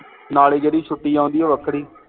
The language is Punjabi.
ਨਾਲੇ ਜਿਹੜੀ ਛੁੱਟੀ ਆਉਂਦੀ ਹੈ ਉਹ ਵੱਖਰੀ